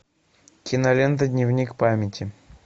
кинолента дневник памяти